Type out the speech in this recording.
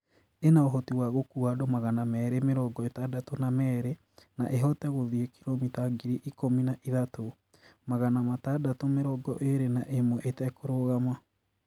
Ina uhoti wa gũkuua andũ magana meerĩ mĩrongo ĩtandatũ na merĩ na ĩhote gũthiĩ kilomita ngiri ikũmi na ithatũ, magana matandatũ mĩrongo ĩĩrĩ na ĩmwe ĩtekũrũgama.